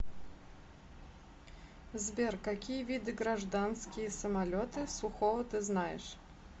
сбер какие виды гражданские самолеты сухого ты знаешь